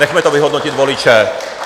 Nechme to vyhodnotit voliče.